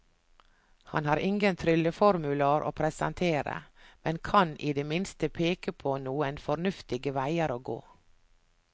Han har ingen trylleformular å presentere, men kan i det minste peke på noen fornuftige veier å gå.